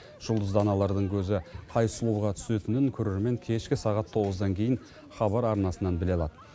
жұлдызды аналардың көзі қай сұлуға түсетінін көрермен кешкі сағат тоғыздан кейін хабар арнасынан біле алады